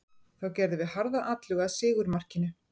Þá gerðum við harða atlögu að sigurmarkinu.